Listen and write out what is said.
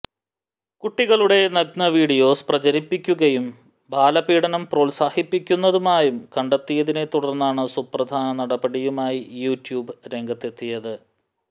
കുട്ടികളുടെ നഗ്ന വീഡിയോസ് പ്രചരിപ്പിക്കുകയും ബാലപീഡനം പ്രോല്സാഹിപ്പിക്കുന്നതുമായും കണ്ടെത്തിയതിനെ തുടർന്നാണ് സുപ്രധാന നടപടിയുമായി യൂട്യൂബ് രംഗത്തെത്തിയത്